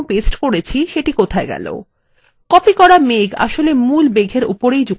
copied করা মেঘ আসলে মূল মেঘএর উপরেই যুক্ত হয়ে গেছে !